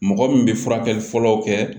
Mɔgɔ min bɛ furakɛli fɔlɔw kɛ